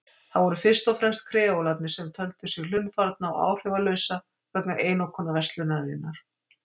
Það voru fyrst og fremst kreólarnir sem töldu sig hlunnfarna og áhrifalausa vegna einokunarverslunarinnar.